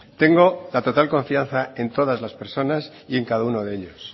tengo la total confianza en todas las personas y en cada uno de ellos